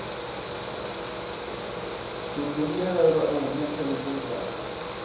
ludungela lwa hune thaidzo dza